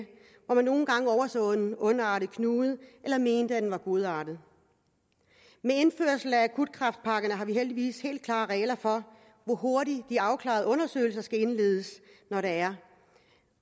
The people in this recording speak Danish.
hvor man nogle gange overså en ondartet knude eller mente at den var godartet med indførelsen af de akutte kræftpakker har vi heldigvis helt klare regler for hvor hurtigt de afklarende undersøgelser skal indledes når der er